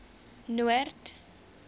noord